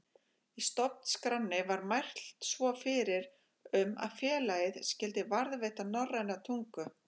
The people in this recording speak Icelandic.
Í stofnskránni var mælt svo fyrir um að félagið skyldi varðveita norræna tungu.